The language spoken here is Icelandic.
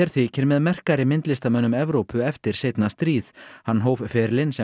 þykir með merkari myndlistarmönnum Evrópu eftir seinna stríð hann hóf ferilinn sem